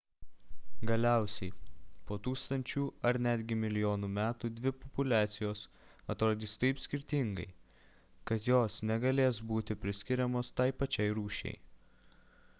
galiausiai po tūkstančių ar netgi milijonų metų dvi populiacijos atrodys taip skirtingai kad jos negalės būti priskiriamos tai pačiai rūšiai